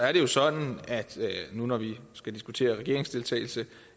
er det sådan nu hvor vi skal diskutere regeringsdeltagelse